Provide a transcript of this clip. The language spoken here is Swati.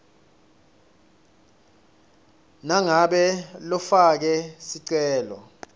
nangabe lofake sicelo